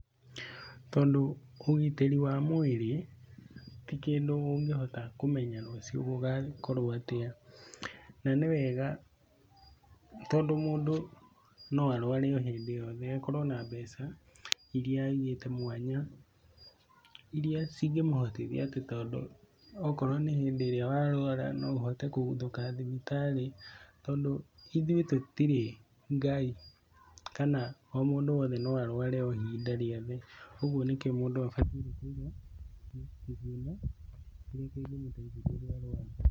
Tondũ ũgitĩri wa mwĩrĩ ti kĩndũ ũngĩhota kũmenya rũcio gũgakorwo atĩa, na nĩ wega tondũ mũndũ no arware o hĩndĩ o yothe, akorwo na mbeca irĩa aigĩte mwanya irĩa cingĩmũhotithia atĩ tondũ okorwo nĩ hĩndĩ ĩrĩa warwara ũhote kũguthũka thibitarĩ, tondũ ithuĩ tũtirĩ Ngai kana o mũndũ wothe no arware o hĩndĩ rĩothe, ũguo nĩkio mũndũ abatiĩ kũiga kĩgĩna kĩrĩa kĩngĩmũteithia rĩrĩa arwarwa.